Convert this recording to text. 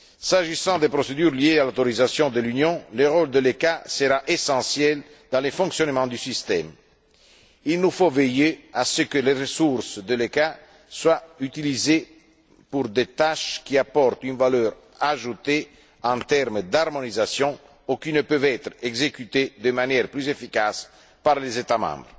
S'agissant des procédures liées à l'autorisation de l'Union, le rôle de l'ECHA sera essentiel dans le fonctionnement du système. Il nous faut veiller à ce que les ressources de l'ECHA soient utilisées pour des tâches qui apportent une valeur ajoutée en termes d'harmonisation, ou qui ne peuvent être exécutées de manière plus efficace par les États membres.